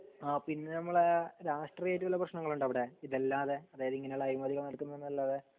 ആ പിന്നെ നമ്മളെ രാഷ്ട്രീയായിട്ട് വല്ല പ്രേശ്നങ്ങളുണ്ടോ അവിടെ ഇതല്ലാതെ അതായത് ഇങ്ങനെയുള്ള അഴിമതികൾ നടക്കുന്നൂന്നല്ലാതെ